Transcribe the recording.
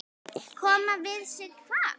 Koma við sig hvar?